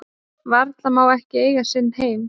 Vala má ekki eiga sinn heim